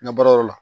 N ka baarayɔrɔ la